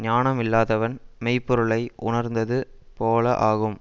ஞானம் இல்லாதவன் மெய் பொருளை உணர்ந்தது போல ஆகும்